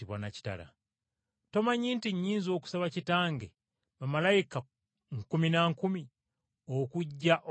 Tomanyi nti nnyinza okusaba Kitange bamalayika nkumi na nkumi okujja okutulwanirira?